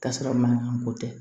K'a sɔrɔ mankan ko tɛ